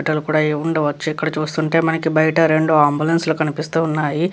ఏమి ఉండవోచు ఇక్కడ బయట రెండు అంబులెన్సు లు కనిపిస్తున్నాయి.